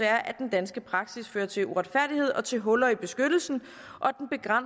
at den danske praksis fører til uretfærdighed og til huller i beskyttelsen